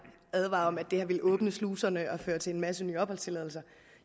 advare om at det her vil åbne sluserne og føre til en masse nye opholdstilladelser